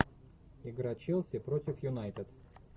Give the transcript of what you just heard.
игра челси против юнайтед